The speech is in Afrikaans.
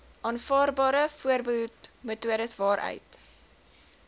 aanvaarbare voorbehoedmetodes waaruit